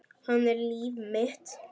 Hann er líf mitt.